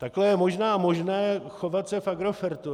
Takhle je možná možné chovat se v Agrofertu.